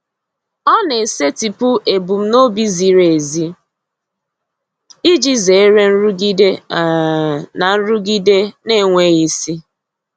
Ọ na-esetịpụ ebumnobi ziri ezi iji zere nrụgide um na nrụgide na-enweghị isi.